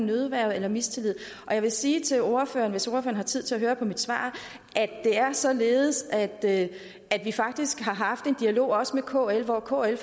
nødværge eller mistillid jeg vil sige til ordføreren hvis ordføreren har tid til at høre på mit svar at det er således at vi faktisk har haft en dialog også med kl hvor kl